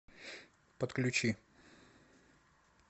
подключи